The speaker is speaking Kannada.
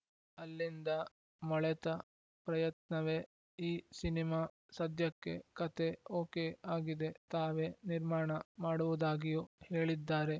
ಅಲ್ಲಿಂದ ಮೊಳೆತ ಪ್ರಯತ್ನವೇ ಈ ಸಿನಿಮಾ ಸದ್ಯಕ್ಕೆ ಕತೆ ಓಕೆ ಆಗಿದೆ ತಾವೇ ನಿರ್ಮಾಣ ಮಾಡುವುದಾಗಿಯೂ ಹೇಳಿದ್ದಾರೆ